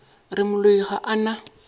re moloi ga a na